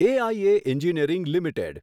AIA engineering limited